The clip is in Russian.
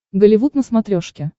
голливуд на смотрешке